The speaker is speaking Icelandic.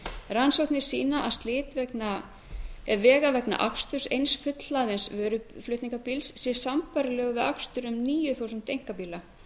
rannsóknir sýna að slit vega vegna aksturs eins fullhlaðins vöruflutningabíls sé sambærilegur við akstur um níu þúsund einkabíla